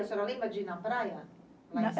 A senhora lembra de ir na praia?